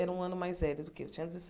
Era um ano mais velho do que eu, tinha